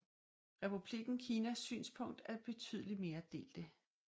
Republikken Kinas synspunkter er betydeligt mere delte